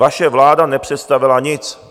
Vaše vláda nepředstavila nic.